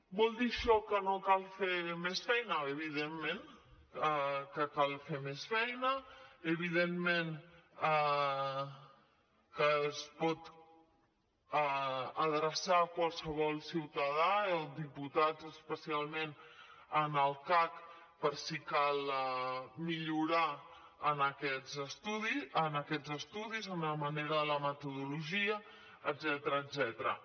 vol dir això que no cal fer més feina evidentment que cal fer més feina evidentment que es pot adreçar qualsevol ciutadà o diputats especialment al cac per si cal millorar en aquests estudis en la metodologia etcètera